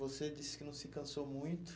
Você disse que não se cansou muito.